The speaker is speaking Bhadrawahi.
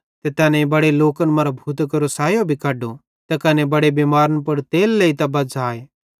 ते तैनेईं बड़े लोकन मरां भूतां केरो सायो भी कड्डो त कने बड़े बिमार मैनन् पुड़ तेल लेइतां बज़्झ़ाए